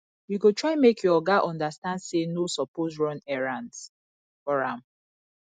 you go try make your oga understand sey no suppose run errands for am